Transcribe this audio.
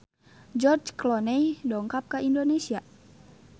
George Clooney dongkap ka Indonesia